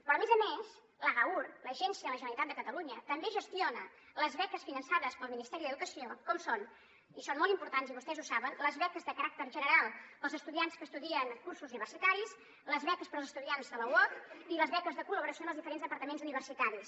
però a més a més l’agaur l’agència de la generalitat de catalunya també gestiona les beques finançades pel ministeri d’educació com són i són molt im·portants i vostès ho saben les beques de caràcter general per als estudiants que es·tudien cursos universitaris les beques per als estudiants de la uoc i les beques de col·laboració en els diferents departaments universitaris